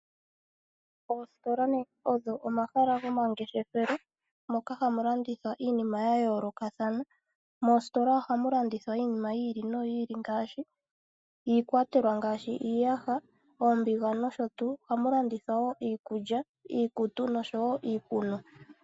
Oositola odho omahala gomangeshefelo moka hamu landithwa iinima ya yoolokathana. Moositola ohamu landithwa iinima yi ili noyi ili ngaashi iikwatelwa ngaashi iiyaha, oombiga nosho tuu. Ohamu landithwa wo iikulya, iikutu noshowo iikunwa.